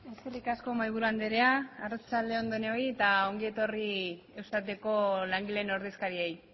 eskerrik asko mahaiburu andrea arratsalde on denoi eta ongi etorri eustateko langileen ordezkariei